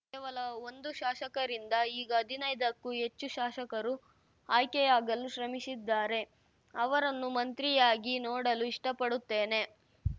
ಕೇವಲ ಒಂದು ಶಾಸಕರಿಂದ ಈಗ ಹದಿನೈದಕ್ಕೂ ಹೆಚ್ಚು ಶಾಸಕರು ಆಯ್ಕೆಯಾಗಲು ಶ್ರಮಿಸಿದ್ದಾರೆ ಅವರನ್ನು ಮಂತ್ರಿಯಾಗಿ ನೋಡಲು ಇಷ್ಟಪಡುತ್ತೇನೆ